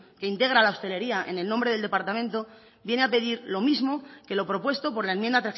que integra la hostelería en el nombre del departamento viene a pedir lo mismo que lo propuesto por la enmienda